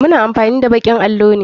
Muna amfani da bakin allo ne.